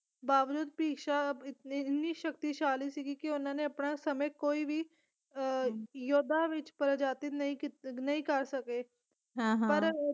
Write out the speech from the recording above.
ਬਾਵਜੂਦ ਭਿਸ਼ਮ ਇੰਨੇ ਸ਼ਕਤੀਸ਼ਾਲੀ ਸੀਗੀ ਕੇ ਉਹਨਾਂ ਨੇ ਆਪਣੇ ਸਮੇਂ ਕੋਈ ਵੀ ਅਹ ਯੁੱਧਾਂ ਵਿੱਚ ਪਰਾਜਿਤ ਨਹੀਂ ਕਰ ਸਕੇ ਪਰ